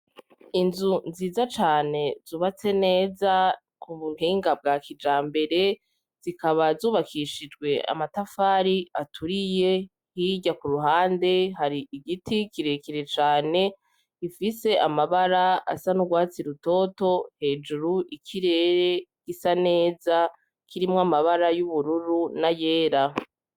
Inzu nziza cane zubatswe neza kubuhinga bwa kijambere zikaba zubakishijwe amatafari aturiye hirya kuruhande hari igiti kirekire cane gifise amabara asa nurwatsi rutoto hejuru ikirere gisa neza kirimwo amabara yubururu nayera